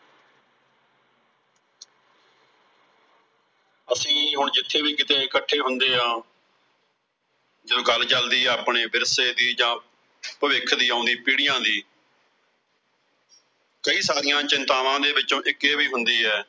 ਅਸੀਂ ਹੁਣ ਜਿੱਥੇ ਵੀ ਕਿਤੇ ਇਕੱਠੇ ਹੁੰਦੇ ਹਾਂ। ਜਾਂ ਗੱਲ ਚਲਦੀ ਆ ਆਪਣੇ ਵਿਰਸੇ ਦੀ ਜਾਂ ਭਵਿੱਖ ਦੀ ਆਉਂਦੀਆਂ ਪੀੜ੍ਹੀਆਂ ਦੀ। ਕਈ ਸਾਰੀਆਂ ਚਿੰਤਾਵਾਂ ਦੇ ਵਿੱਚੋਂ ਇੱਕ ਇਹ ਵੀ ਹੁੰਦੀ ਆ।